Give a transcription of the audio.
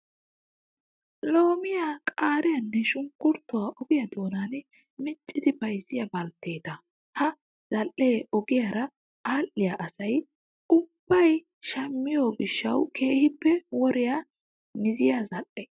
Loomiyaa, qaariyaanne shunkkuruutuwaa ogiyaa donan miccidi bayizziyaa baltteetata. Ha zal''ee ogiyaara aadhdhiyaa asayi ubbayi shammiyoo gishshawu keehippe woriyaa miziyaa zal''e.